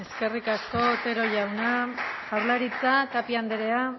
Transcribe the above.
eskerrik asko otero jauna jaurlaritza tapia andrea